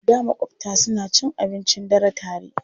A da maƙwabta suna cin abincin dare tare.